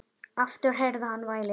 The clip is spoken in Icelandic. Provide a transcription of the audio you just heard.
Aftur heyrði hann vælið.